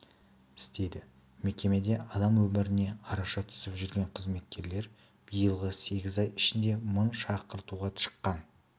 істейді мекемеде адам өміріне араша түсіп жүрген қызметкер биылғы сегіз ай ішінде мың шақыртуға шыққан